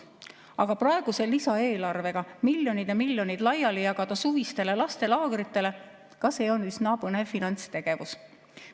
Aga jagada praeguse lisaeelarvega miljoneid ja miljoneid laiali suvistele lastelaagritele – ka see on üsna põnev finantstegevus.